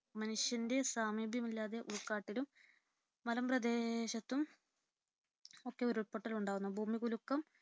മനുഷ്യന്റെ സാമീപ്യമില്ലാതെ ഉൾക്കാട്ടിലും, മലമ്പ്രദേശത്തും ഒക്കെ ഉരുൾപൊട്ടൽ ഉണ്ടാകുന്നു. ഭൂമികുലുക്കം